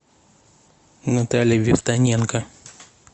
наталья вивтоненко